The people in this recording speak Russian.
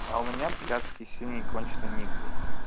а у меня блядский синий конченый ник блядь